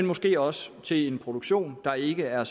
måske også til en produktion der ikke er